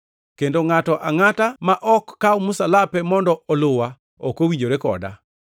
kendo ngʼato angʼata ma ok kaw msalape mondo oluwa ok owinjore koda.